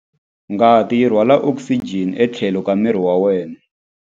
Ngati yi rhwala okisijeni etlhelo ka miri wa wena.